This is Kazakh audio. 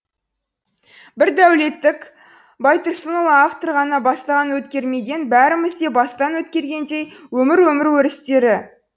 бір байтұрсынұлы автор ғана бастан өткермеген бәріміз де бастан өткергендей өмір өмір өрістері